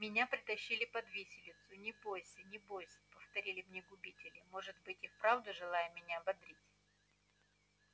меня притащили под виселицу не бось не бось повторяли мне губители может быть и вправду желая меня ободрить